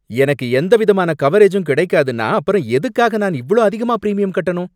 எனக்கு எந்த விதமான கவரேஜூம் கிடைக்காதுன்னா அப்புறம் எதுக்காக நான் இவ்ளோ அதிகமா பிரிமியம் கட்டணும்?